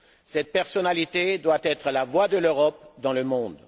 Cette personnalité doit être la voix de l'Europe dans le monde.